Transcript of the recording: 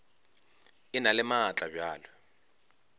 e na le maatla bjalo